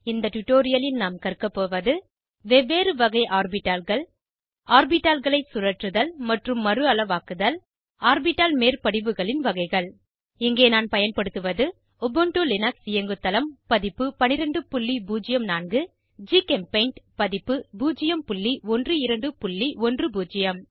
இந்த டுடோரியலில் நாம் கற்க போவது வெவ்வேறு வகை ஆர்பிட்டால்கள் ஆர்பிட்டால்களை சுழற்றுதல் மற்றும் மறுஅளவாக்குதல் ஆர்பிட்டால் மேற்படிவுகளின் வகைகள் இங்கே நான் பயன்படுத்துவது உபுண்டு லினக்ஸ் இயங்குதளம் பதிப்பு 1204 ஜிகெம்பெய்ண்ட் பதிப்பு 01210